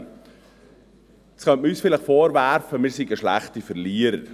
Jetzt könnte man uns vielleicht vorwerfen, wir seien schlechte Verlierer.